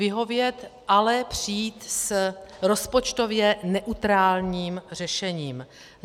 Vyhovět, ale přijít s rozpočtově neutrálním řešením.